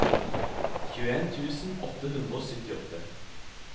tjueen tusen åtte hundre og syttiåtte